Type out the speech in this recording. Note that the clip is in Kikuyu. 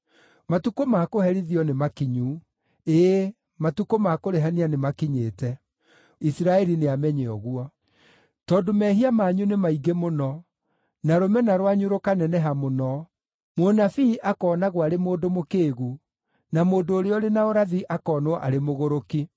Matukũ ma kũherithio nĩmakinyu, ĩĩ, matukũ ma kũrĩhania nĩmakinyĩte. Isiraeli nĩamenye ũguo. Tondũ mehia manyu nĩ maingĩ mũno, na rũmena rwanyu rũkaneneha mũno, mũnabii akoonagwo arĩ mũndũ mũkĩĩgu, na mũndũ ũrĩa ũrĩ na ũrathi akonwo arĩ mũgũrũki.